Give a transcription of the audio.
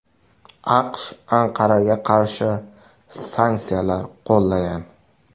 AQSh Anqaraga qarshi sanksiyalar qo‘llagan .